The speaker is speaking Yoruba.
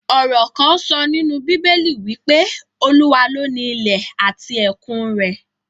Ọ̀rò kán sọ nínú bíbélì wí pé, Olúwa ló ni ilẹ̀ àti ẹ̀kun rẹ̀